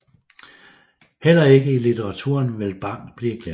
Heller ikke i litteraturen vil Bang blive glemt